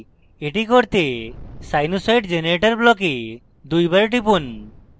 এটি করতে sinusoid generator block দুইবার টিপুন